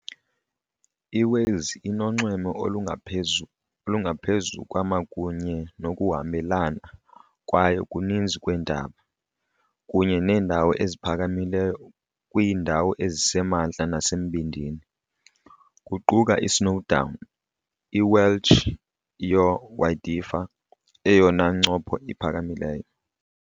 IWales inonxweme olungaphezu kwama kunye nokuhambelana kwayo kuninzi kweentaba, kunye neendawo eziphakamileyo kwiindawo ezisemantla nasembindini, kuquka i-Snowdon, i-Welsh, Yr Wyddfa, eyona ncopho iphakamileyo.